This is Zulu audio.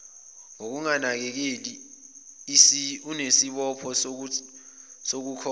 ngokunganakeleli unesibopho sokukhokha